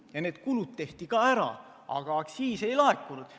Ning need kulud tehti ära, aga aktsiisi ei laekunud.